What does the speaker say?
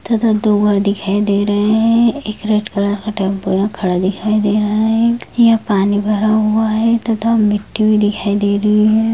तथा दो घर दिखाई दे रहे हैं एक रेड कलर का टब खड़ा हुआ दिखाई दे रहा है यहाँ पानी भरा हुआ है तथा मिट्टी भी दिखाई दे रही है।